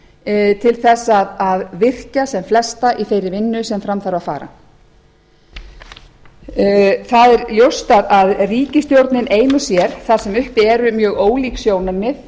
brýn til þess að virkja sem flesta í þeirri vinnu sem fram þarf að fara það er ljóst að ríkisstjórnin ein og sér þar sem uppi eru mjög ólík sjónarmið